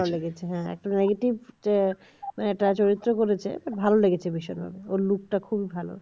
ভালো লেগেছে হ্যাঁ একটা negative attach হয়েছে বলেছে ভালো লেগেছে বিষয়টা ওর look টা খুবই ভালো